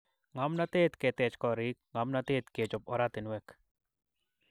Ngomnotetab ketech korik. Ngomnatetab kechop oratinwek